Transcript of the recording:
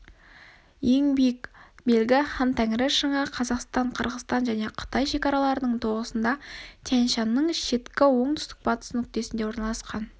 ең биік белгі хантәңірі шыңы қазақстан қырғызстан және қытай шекараларының тоғысында тянь-шаньның шеткі оңтүстік-батыс нүктесіне орналасқан